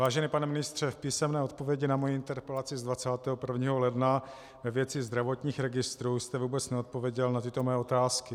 Vážený pane ministře, v písemné odpovědi na moji interpelaci z 21. ledna ve věci zdravotních registrů jste vůbec neodpověděl na tyto mé otázky: